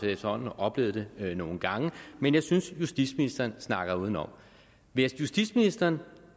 efterhånden oplevet det nogle gange men jeg synes at justitsministeren snakker udenom vil justitsministeren